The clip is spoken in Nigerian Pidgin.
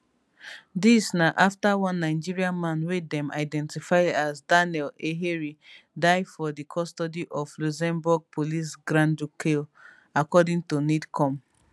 dis na afta one nigerian man wey dem identify as daniel eheri die for di custody of luxembourg police grandducale according to nidcom